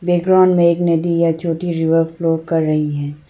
Background में एक नदी है जो कि रिवर फ्लो कर रही है।